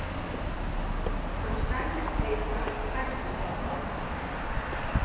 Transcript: Hann sagðist heita Heisenberg